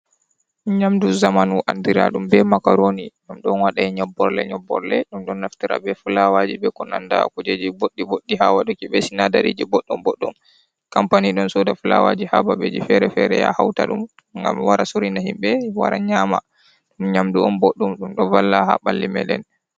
nyamɗu zamanu anɗira ɗum be makaroni. Ɗum ɗon waɗe nyobborle nyobborle. Ɗum ɗon naftira be fulawaji be ko nanɗa kujeji boɗɗi boɗɗi ha waɗuki be sinaɗariji boɗɗon boɗɗum. Kampani ɗon soɗa fulawaji ha babeji fere-fere ya hauta dum ngam wara sorina himbe wara nyama. Ɗum nyamdu on boɗɗum ɗum ɗo valla ha balli meɗen.